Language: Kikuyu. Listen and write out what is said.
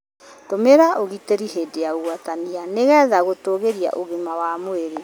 Tũmĩra ũgitĩri hĩndĩ ya ũgwatania nĩ getha gũtũgĩria ũgima wa mwĩrĩ.